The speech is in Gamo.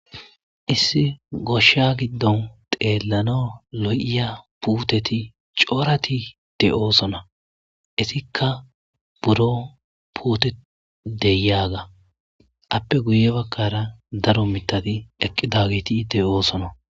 issi goshsha giddon xeellanaw lo7iya puuteti cooratite oosona issikka buro puote deyaga appe guye bakkara daro mitadi eqqi daagitiite oosona